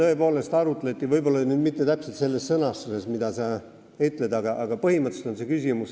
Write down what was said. Seda tõepoolest arutati – võib-olla mitte täpselt sellises sõnastuses, nagu sa ütlesid, aga põhimõtteliselt küll.